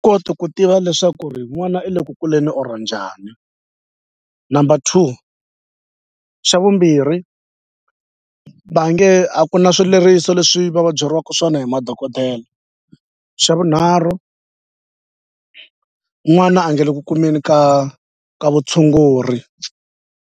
Koti ku tiva leswaku ri n'wana i le ku kuleni or njhani number two xa vumbirhi va nge a ku na swileriso leswi va va byeriwaka swona hi madokodela xa vunharhu n'wana a nga le ku kumeni ka ka vutshunguri.